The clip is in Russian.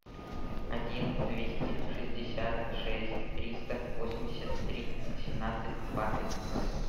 один двести шестьдесят шесть триста восемьдесят три восемнадцать двадцать ноль